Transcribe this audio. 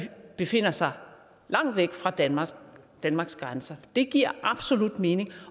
befinder sig langt væk fra danmarks danmarks grænser det giver absolut mening